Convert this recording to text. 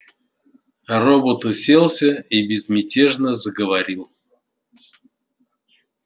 робот уселся и безмятежно заговорил